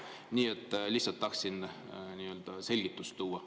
Nii et lihtsalt tahtsin selgust tuua.